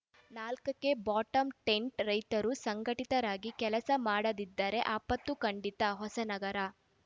ನಾಲ್ಕಕ್ಕೆ ಬಾಟಂ ಟಿಂಟ್‌ ರೈತರು ಸಂಘಟಿತರಾಗಿ ಕೆಲಸ ಮಾಡದಿದ್ದರೆ ಆಪತ್ತು ಖಂಡಿತ ಹೊಸನಗರ